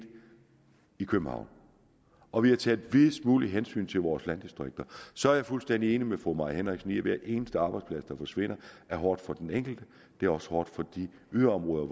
i københavn og vi har taget en lille smule hensyn til vores landdistrikter så er jeg fuldstændig enig med fru mai henriksen i at hver eneste arbejdsplads der forsvinder er hårdt for den enkelte det er også hårdt for de yderområder